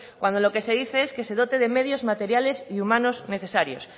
cuando lo que se dice es que se dote de medios materiales y humanos necesarios